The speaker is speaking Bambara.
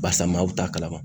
Barisa maaw t'a kalama.